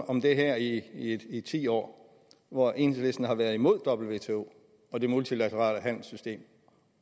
om det her i i ti år hvor enhedslisten har været imod wto og det multilaterale handelssystem